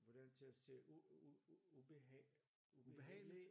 Hvordan kan jeg sige ubehag ubehageligt